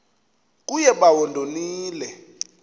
kuye bawo ndonile